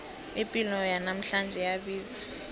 ipilo yanamhlanje iyabiza